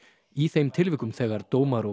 í þeim tilvikum þegar dómar og